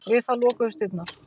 Við það lokuðust dyrnar.